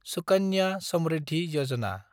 Sukanya Samriddhi Yojana